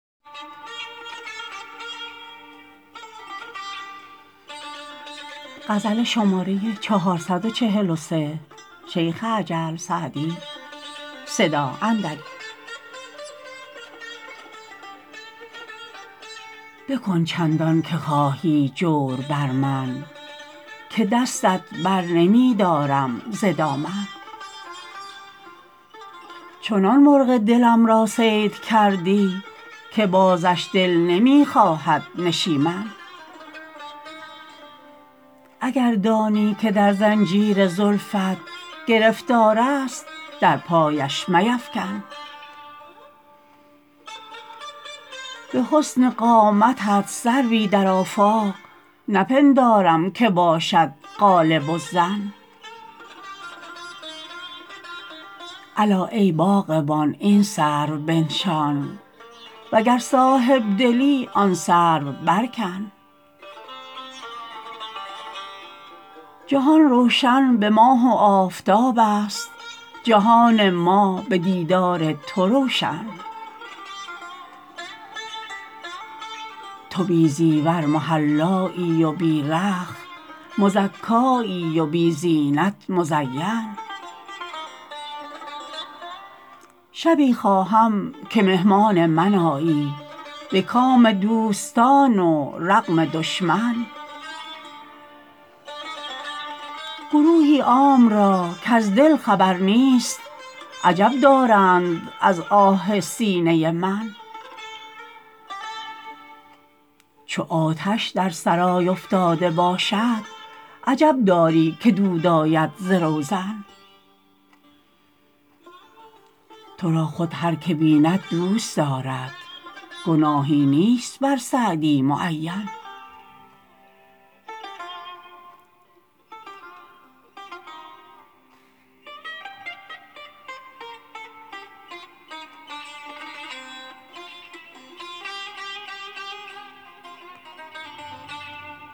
بکن چندان که خواهی جور بر من که دستت بر نمی دارم ز دامن چنان مرغ دلم را صید کردی که بازش دل نمی خواهد نشیمن اگر دانی که در زنجیر زلفت گرفتار است در پایش میفکن به حسن قامتت سروی در آفاق نپندارم که باشد غالب الظن الا ای باغبان این سرو بنشان و گر صاحب دلی آن سرو برکن جهان روشن به ماه و آفتاب است جهان ما به دیدار تو روشن تو بی زیور محلایی و بی رخت مزکایی و بی زینت مزین شبی خواهم که مهمان من آیی به کام دوستان و رغم دشمن گروهی عام را کز دل خبر نیست عجب دارند از آه سینه من چو آتش در سرای افتاده باشد عجب داری که دود آید ز روزن تو را خود هر که بیند دوست دارد گناهی نیست بر سعدی معین